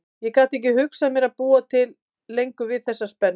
Ég gat ekki hugsað mér að búa lengur við þessa spennu.